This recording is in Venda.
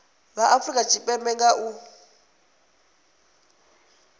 vha afurika tshipembe nga u